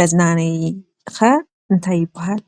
መዝናነዪ ኸ እንታይ ይባሃል?